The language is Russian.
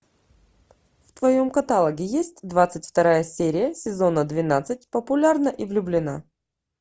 в твоем каталоге есть двадцать вторая серия сезона двенадцать популярна и влюблена